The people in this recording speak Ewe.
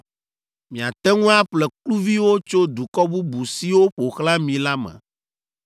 “ ‘Miate ŋu aƒle kluviwo tso dukɔ bubu siwo ƒo xlã mi la me,